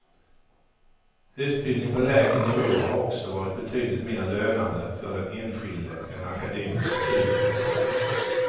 Utbildning på lägre nivå har också varit betydligt mer lönande för den enskilde än akademiska studier.